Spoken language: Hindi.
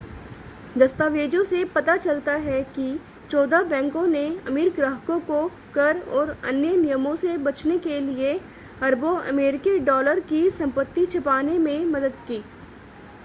दस्तावेजों से पता चलता है कि चौदह बैंकों ने अमीर ग्राहकों को कर और अन्य नियमों से बचने के लिए अरबों अमेरिकी डॉलर की संपत्ति छिपाने में मदद की